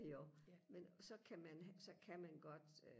jo men så kan man så kan man godt øh